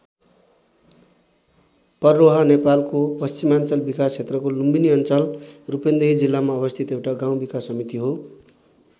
पर्रोहा नेपालको पश्चिमाञ्चल विकास क्षेत्रको लुम्बिनी अञ्चल रूपन्देही जिल्लामा अवस्थित एउटा गाउँ विकास समिति हो।